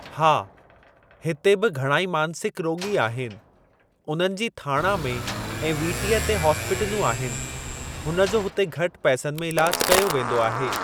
हा हिते बि घणा ई मांसिक रोॻी आहिनि, उननि जी थाणा में ऐं वीटीअ ते हॉस्पिटलूं आहिनि हुन जो हुते घटि पैसनि में इलाजु कयो वेंदो आहे।